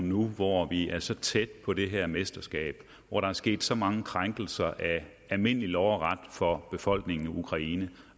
nu hvor vi er så tæt på det her mesterskab og hvor der er sket så mange krænkelser af almindelig lov og ret over for befolkningen i ukraine